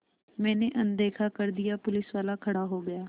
मैंने अनदेखा कर दिया पुलिसवाला खड़ा हो गया